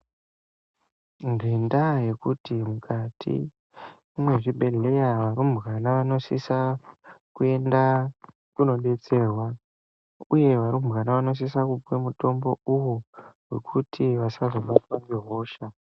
Nendaa yekuti mukati mezvibhedhlera varumbwana vanosisa kuenda kunobetserwa uye varumbwana vanosise kupuwe mishonga wekuti vasabatwe nehosha